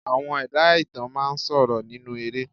Àwọn ẹ̀dá ìtàn máa ń sọ̀rọ̀ nínú eré